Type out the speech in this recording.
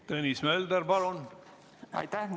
Tõnis Mölder, palun!